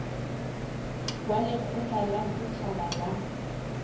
wa lekgotla la setjhaba la